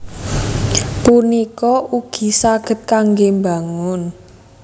punika ugi saged kanggé mbangun